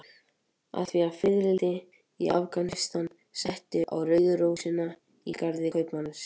Af því að fiðrildi í Afganistan settist á rauðu rósina í garði kaupmannsins.